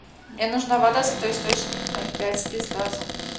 мне нужна вода святой источник ноль пять без газа